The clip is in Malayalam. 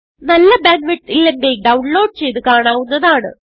നല്ല ബാൻഡ് വിഡ്ത്ത് ഇല്ലെങ്കിൽ ഡൌൺലോഡ് ചെയ്ത് കാണാവുന്നതാണ്